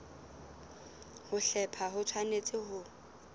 ho hlepha ho tshwanetse ho